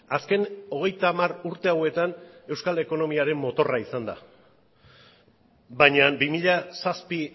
azken hogeita hamar urte hauetan euskal ekonomiaren motorra izan da baina bi mila zazpi